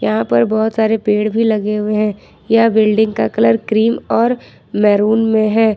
यहां पर बहुत सारे पेड़ भी लगे हुए हैं यह बिल्डिंग का कलर क्रीम और मेरून में है।